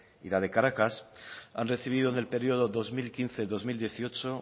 y la de caracas han recibido en el periodo dos mil quince dos mil dieciocho